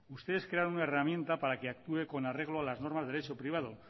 ustedes crearon una herramienta para que actúe con arreglo a las normas de derecho privado